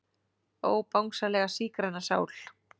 Ó Bangsalega sígræna sál.